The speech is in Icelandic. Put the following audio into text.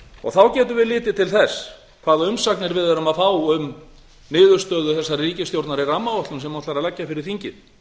upp þá getum við litið til þess hvaða umsagnir við erum að fá um niðurstöðu þessarar ríkisstjórnar í rammaáætlun sem hún ætlar að leggja fyrir þingið